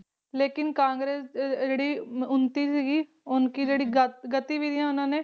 ਲੇਕਿਨ ਕਾਂਗਰੇਸ ਦੀ ਜਿਹੜੀ ਉੱਨਤੀ ਸੀਗੀ ਉਨਕੀ ਜਿਹੜੀ